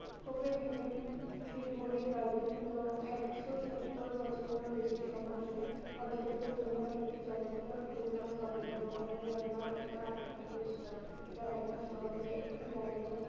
Copenhagen তো একশো সত্তুর বছরেরও বেশি সময় ধরে পর্যটকের জন্য একটি জনপ্রিয় Christmas গন্তব্য। কেন denmark এতো আকৃষ্ট? এটা দেখা সহজে একটি garden এর